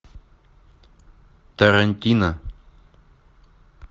тарантино